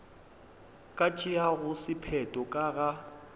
ka tšeago sephetho ka ga